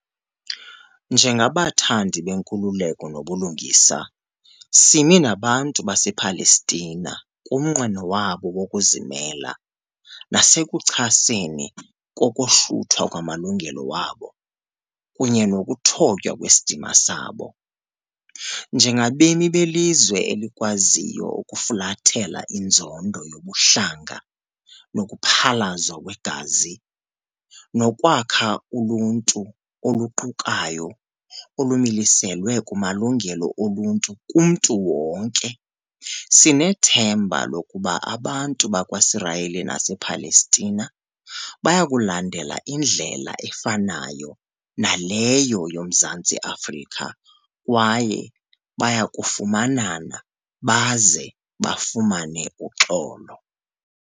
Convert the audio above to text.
Njengabathandi benkululeko nobulungisa, simi nabantu basePalestina kumnqweno wabo wokuzimela, nasekuchaseni kokohluthwa kwamalungelo wabo kunye nokuthotywa kwesidima sabo. Njengabemi belizwe eli kwaziyo ukufulathela inzondo yobuhlanga nokuphalazwa kwegazi, nokwakha uluntu oluqukayo olumiliselwe kumalungelo oluntu kumntu wonke, sinethemba lokuba abantu bakwaSirayeli nasePalestina bayakulandela indlela efanayo naleyo yoMzantsi Afrika, kwaye bayakufumanana baze bafumane uxolo.